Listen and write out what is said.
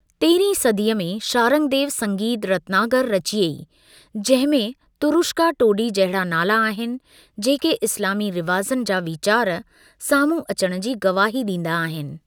तेरहीं सदीअ में, शारंगदेव संगीत रत्नाकर रचियईं, जंहिं में तुरुष्का टोडी जहिड़ा नाला आहिनि, जेके इस्‍लामी रिवाज़नि जा विचार साम्हूं अचण जी गवाही ॾींदा आहिनि।